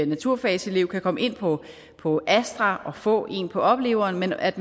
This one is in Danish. naturfagselev kan komme ind på på astra og få en på opleveren men at